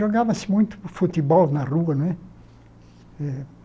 Jogava-se muito futebol na rua, né?